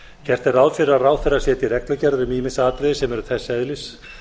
gert er ráð fyrir að ráðherra setji reglugerð um ýmis atriði sem eru þess eðlis